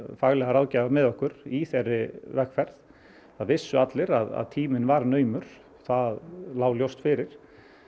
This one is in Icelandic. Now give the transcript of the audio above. faglega ráðgjafa með okkur í þeirri vegferð það vissu allir að tíminn var naumur það lá ljóst fyrir